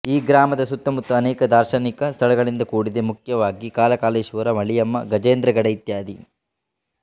ಈ ಗ್ರಾಮದ ಸುತ್ತಮುತ್ತ ಅನೇಕ ದಾರ್ಶನಿಕ ಸ್ಥಳಗಳಿಂದ ಕೂಡಿದೆ ಮೂಖ್ಯವಾಗಿ ಕಾಲಾಕಾಲೇಶ್ವರ ಮಳಿಯಮ್ಮ ಗಜೇಂದ್ರಗಡ ಇತ್ಯಾದಿ